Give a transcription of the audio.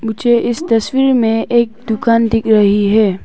मुझे इस तस्वीर में एक दुकान दिख रही है।